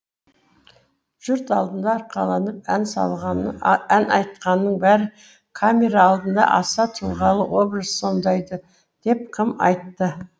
жұрт алдында арқаланып ән айтқанның бәрі камера алдында аса тұлғалы образ сомдайды деп кім айтты